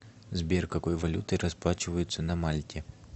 сбер какой валютой расплачиваются на мальте